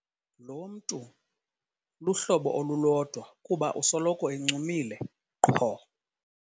Lo mntu luhlobo olulodwa kuba usoloko encumile qho.